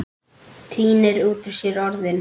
Tínir út úr sér orðin.